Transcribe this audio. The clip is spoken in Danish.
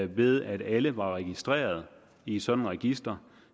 ved at alle var registreret i et sådant register